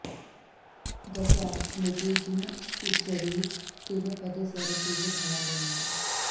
दस आठ स्मृति जिन उच्चरी तिन पद सरसिज भाल मो